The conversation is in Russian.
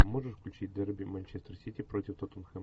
можешь включить дерби манчестер сити против тоттенхэм